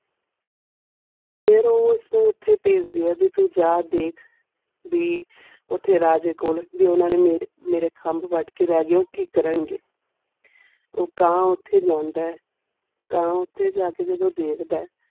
ਫਿਰ ਉਹ ਉਸਨੂੰ ਓਥੇ ਪੈਜਦੀਆਂ ਜਿਥੁ ਜਾ ਦਿੱਖ ਵੀ ਓਥੇ ਰਾਜੇ ਕੋਲ ਵੀ ਓਨਾ ਨੇ ਮੇਰੇ ਮੇਰੇ ਖਾਮ੍ਬ ਪੈਟ ਕੇ ਲੈ ਗਏ ਉਹ ਕਿ ਕਾਰਨ ਗਏ ਉਹ ਕਾਂ ਓਥੇ ਜਾਂਦਾ ਕਾਂ ਓਥੇ ਜਾ ਕੇ ਜਾਦੂ ਦਿਖਦਾ.